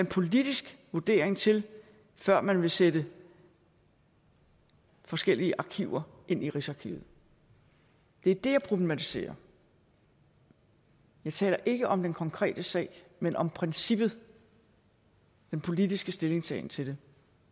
politisk vurdering til før man vil sætte forskellige arkiver ind i rigsarkivet det er det jeg problematiserer jeg taler ikke om den konkrete sag men om princippet den politiske stillingtagen til